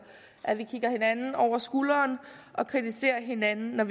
at man kigger hinanden over skulderen og kritiserer hinanden når